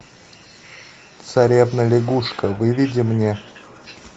царевна лягушка выведи мне